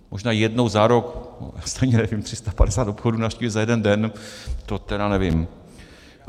Možná jednou za rok, já stejně nevím, 350 obchodů navštívit za jeden den, to tedy nevím.